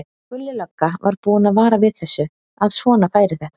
Gulli lögga var búinn að vara við þessu, að svona færi þetta.